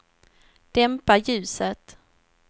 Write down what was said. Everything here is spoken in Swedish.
dämpa ljuset